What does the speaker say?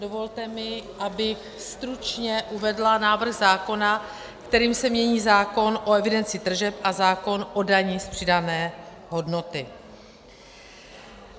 Dovolte mi, abych stručně uvedla návrh zákona, kterým se mění zákon o evidenci tržeb a zákon o dani z přidané hodnoty.